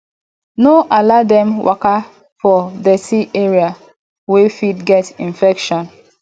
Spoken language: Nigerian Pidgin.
no allow dem waka for dirty area wey fit get infection